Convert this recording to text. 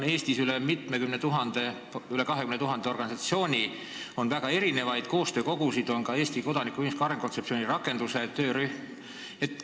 Eestis on üle 20 000 organisatsiooni, on väga erinevaid koostöökogusid ja on ka Eesti kodanikuühiskonna arengu kontseptsiooni rakenduse töörühm.